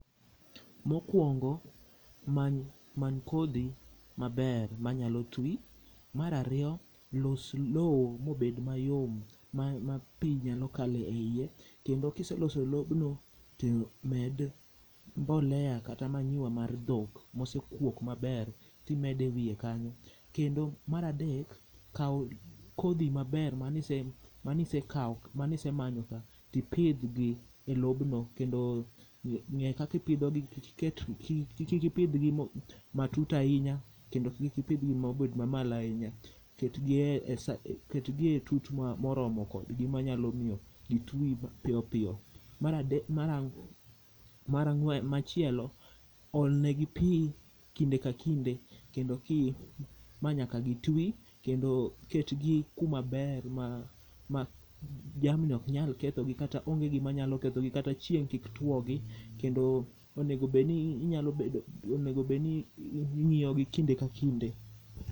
mokuongo many kodhi maber manyalo twi, mar ariyo los loo mabed mayom ma pi nyalo kale iye, kendo kise loso lobno to med mbolea kata manyiwa mar dhok mose kuok maber timede wiye kanyo, kendo mar adek, kaw kodhi maber mane isemanyo ka ti pidh gi elobno kendo nga kaka ipidhogi ,kik ipidh gi matut ahiny akendo kik ipidh gi mobedo mamalo ahinya, ket gi e tut moromo kod gi manyalo miyo gi twi mapiyopiyo, machielo olne gi pi kinde ka kinde manayaka gi twi kendo ket gi kuma ber ma jamni ok nyal ketho gi kata onge gima nyalo ketho gi kata chieng kik tuo gi kendo onego bed ni ing'iyo gi kinde ka kinde.